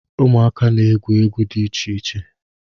Ụmụaka na-egwu egwu di iche iche.